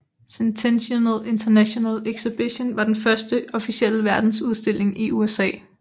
Centennial International Exhibition var den første officielle verdensudstilling i USA